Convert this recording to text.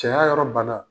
Cɛya yɔrɔ bana